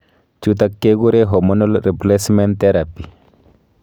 Chutak kekure hormonal replcament�therapi